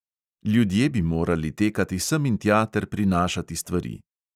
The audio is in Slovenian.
Ljudje bi morali tekati sem in tja ter prinašati stvari.